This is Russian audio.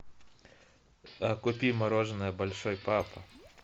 купи мороженое большой папа